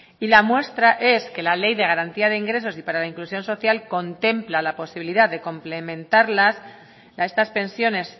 y la muestra es que la ley de garantía de ingresos y para la inclusión social contempla la posibilidad de complementarlas estas pensiones